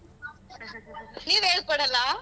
ನೀವ್ ಹೇಳ್ಕೊಡಲ್ಲ.